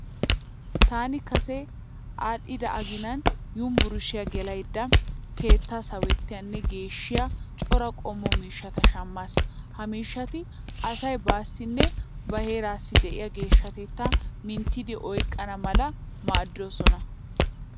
Taani kase adhdhida aginan univurshshiya gelaydda keettaa sawettiyanne geeshshiya cora qommo miishshata shammaas. Ha miishshati asay baassinne ba herraassi de'iya geeshshatettaa minttidi oyiqqana mala maaddoosona.